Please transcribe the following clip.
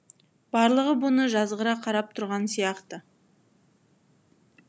барлығы бұны жазғыра қарап тұрған сияқты